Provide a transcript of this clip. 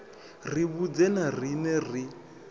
ri vhudze na riṋe ri